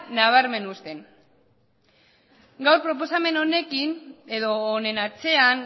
nabarmen uzten gaur proposamen honekin edo honen atzean